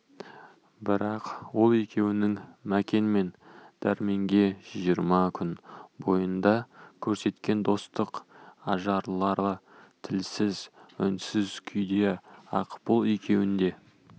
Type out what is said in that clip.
бірақ ол екеуінің мәкен мен дәрменге жиырма күн бойында көрсеткен достық ажарлары тілсіз үнсіз күйде-ақ бұл екеуін де